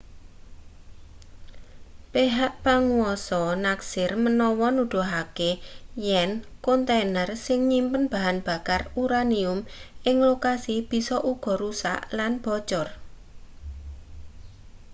pehak panguwasa neksir menawa nuduhake yen kontaner sing nyimpen bahan bakar uranium ing lokasi bisa uga rusak lan bocor